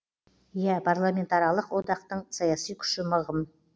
иә парламентаралық одақтың саяси күші мығым